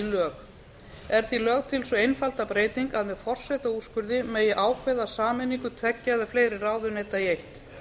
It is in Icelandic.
lög er því lögð til sú einfalda breyting að með forsetaúrskurði megi ákveða sameiningu tveggja eða fleiri ráðuneyta í eitt